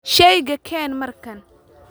Shayga keen markan.